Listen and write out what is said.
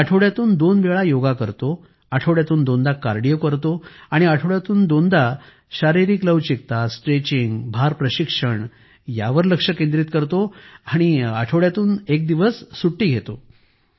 मी आठवड्यातून दोन वेळा योगा करतो आठवड्यातून दोनदा कार्डिओ करतो आणि आठवड्यातून दोनदा शारीरिक लवचिकता स्ट्रेचिंग भार प्रशिक्षण यावर लक्ष केंद्रित करतो आणि आठवड्यातून एक दिवस सुट्टी घेतो